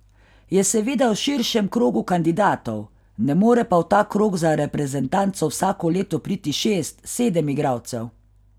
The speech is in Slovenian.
Je seveda v širšem krogu kandidatov, ne more pa v ta krog za reprezentanco vsako leto priti šest, sedem igralcev.